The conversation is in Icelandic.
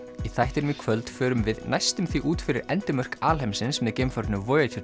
í þættinum í kvöld förum við næstum því út fyrir endimörk alheimsins með geimfarinu